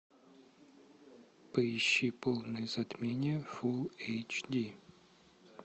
поищи полное затмение фул эйч ди